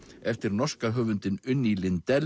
eftir norska höfundinn Unni